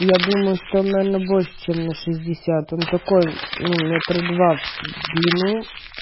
я думаю что она больше чем на шестьдесят он такой ну метров два в длину